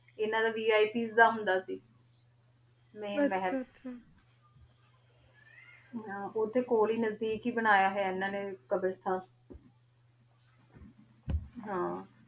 ਏਨਾ ਦਾ vipsਦਾ ਹੁੰਦਾ ਸੀ ਮੈਂ ਮਹਲ ਆਚਾ ਆਚਾ ਆਚਾ ਹਾਂ ਓਥੇ ਕੋਲ ਈ ਨਾਜ੍ਦੇਕ ਈ ਬਨਾਯਾ ਹੋਣਾ ਏਨਾ ਨੇ ਕ਼ਾਬ੍ਰਾਸ੍ਤਾਨ ਹਾਂ